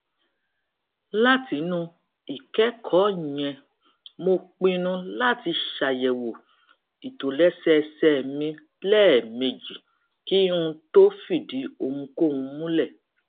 látinú ìkékòó yẹn mo pinnu láti ṣàyèwò ìtòlésẹẹsẹ mi léèmejì kí n tó fìdí ohunkóhun múlè